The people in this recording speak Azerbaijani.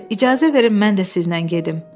Ser, icazə verin mən də sizlə gedim.